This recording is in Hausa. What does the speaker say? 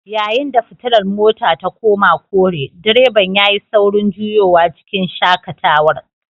Yayin da fitilar motar ta koma kore direban yayi saurin juyowa cikin shakatarwa